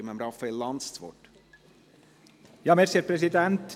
Ich gebe Raphael Lanz das Wort.